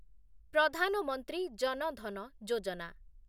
Pradhan Mantri Jan Dhan Yojana